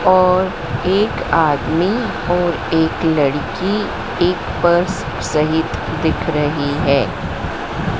और एक आदमी और एक लड़की एक पर्स सहित दिख रही हैं।